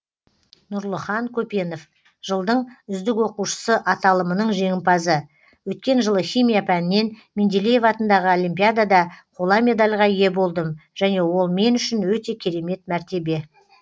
нұрлыхан көпенов жылдың үздік оқушысы аталымының жеңімпазы өткен жылы химия пәнінен менделеев атындағы олимпиадада қола медельға ие болдым және ол мен үшін өте керемет мәртебе